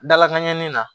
Dalakan ɲɛnini na